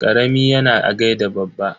Karami yana gaida babba.